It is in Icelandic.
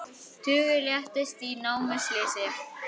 Tugir létust í námuslysi